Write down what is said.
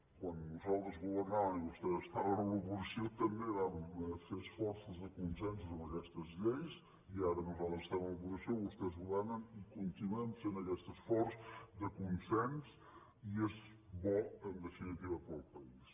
quan nosaltres governàvem i vostès estaven a l’oposició també vam fer esforços de consensos en aquestes lleis i ara nosaltres estem a l’oposició i vostès governen i continuem fent aquest esforç de consens i és bo en definitiva per al país